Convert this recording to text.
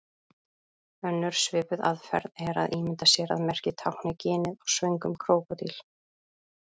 Önnur svipuð aðferð er að ímynda sér að merkið tákni ginið á svöngum krókódíl.